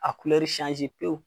A pewu.